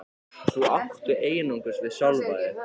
Það áttu einungis við sjálfan þig.